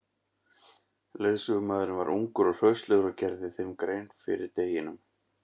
Leiðsögumaðurinn var ungur og hraustlegur og gerði þeim grein fyrir deginum.